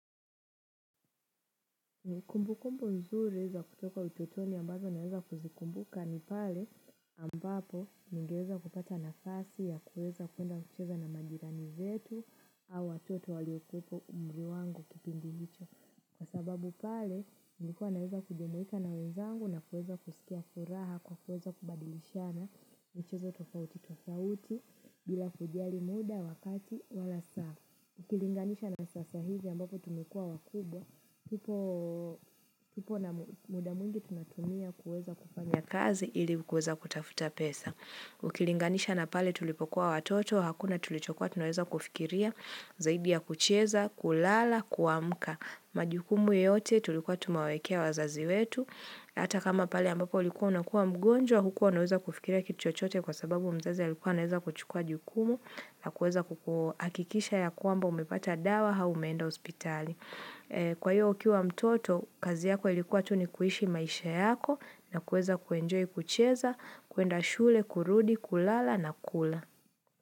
Ni kumbu kumbu mzuri za kutoka utotoni ambazo naweza kuzikumbuka ni pale ambapo ningeweza kupata nafasi ya kueza kuenda kucheza na majirani zetu au watoto waliokupo umri wangu kipindi nicho. Kwa sababu pale nlikuwa naweza kujumuika na wenzangu na kueza kusikia furaha kwa kueza kubadilishana nicheza tofauti tofauti bila kuiali muda wakati wala saa. Ukilinganisha na sasa hizi ambapo tumikuwa wakubwa, kipo na muda mwengi tunatumia kuweza kufanya kazi ili kuweza kutafuta pesa. Ukilinganisha na pale tulipokuwa watoto, hakuna tulichokuwa tunueza kufikiria, zaidi ya kucheza, kulala, kuamka. Majukumu yote tulikuwa tumawekea wazazi wetu. Hata kama pali ambapo likuwa unakuwa mgonjwa, hukuwa unaweza kufikira kituchote kwa sababu mzazi ya likuwa naweza kuchukua jukumu na kuweza kukua akikisha ya kwamba umepata dawa aumeenda hospitali. Kwa hiyo ukiwa mtoto, kazi yako ilikuwa tunikuishi maisha yako na kuweza kuenjoy kucheza, kuenda shule, kurudi, kulala na kula.